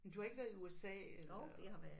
Men du har ikke været i USA eller?